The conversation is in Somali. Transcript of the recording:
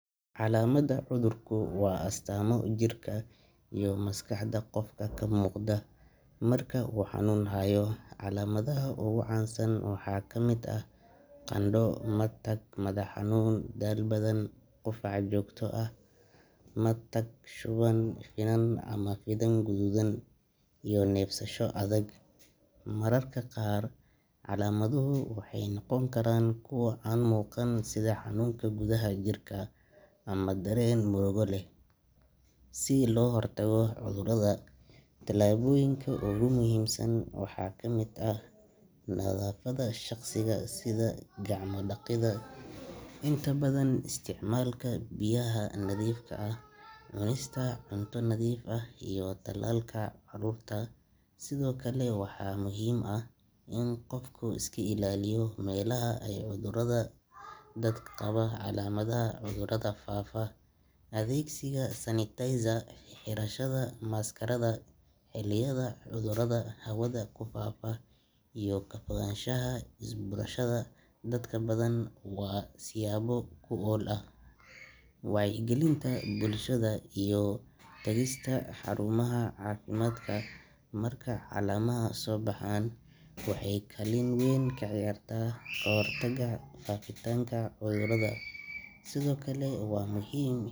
Calamada cudurku waa astaamo jirka iyo maskaxda qofka ka muuqda marka uu xanuun hayo. Calaamadaha ugu caansan waxaa ka mid ah qandho, matag, madax xanuun, daal badan, qufac joogto ah, matag, shuban, finan ama finan gaduudan, iyo neefsasho adag. Mararka qaar calaamaduhu waxay noqon karaan kuwo aan muuqan sida xanuunka gudaha jirka ama dareen murugo leh. Si loo hortago cudurrada, tallaabooyinka ugu muhiimsan waxaa ka mid ah nadaafadda shakhsiga sida gacmo dhaqidda inta badan, isticmaalka biyaha nadiifka ah, cunista cunto nadiif ah, iyo tallaalka carruurta. Sidoo kale waa muhiim in qofku iska ilaaliyo meelaha ay cudurrada ka dillaacaan, iskana ilaaliyo la macaamilka dad qaba calaamadaha cudurrada faafa. Adeegsiga sanitizer, xirashada maaskarada xilliyada cudurrada hawada ku faafa, iyo ka fogaanshaha isbuurashada dadka badan waa siyaabo wax ku ool ah. Wacyigelinta bulshada iyo tagista xarumaha caafimaadka marka calaamaduhu soo baxaan waxay kaalin weyn ka ciyaartaa kahortagga faafitaanka cudurrada. Sidoo kale waa muhiim.